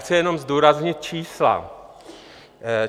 Chci jenom zdůraznit čísla.